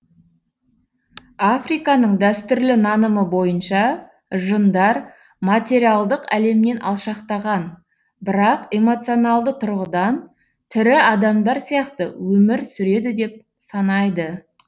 африканың дәстүрлі нанымы бойынша жындар материалдық әлемнен алшақтаған бірақ эмоционалды тұрғыдан тірі адамдар сияқты өмір сүреді деп санайды